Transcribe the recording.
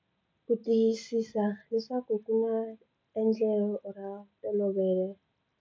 Ku tiyisisa leswaku ku na endlelo ra ntolovelo.